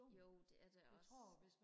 jo det er det også